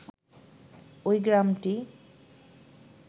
ওই গ্রামটি